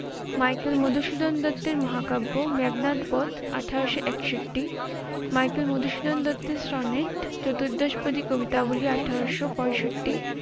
Michael Madhusudan দত্তের মহাকাব্য মেঘনাদ বধ আঠারোশ একষট্টি, মাইকেল মধুসূদন দত্তের সনেট চতুর্দশপদী কবিতাবলি আঠারোশ পয়ষট্টি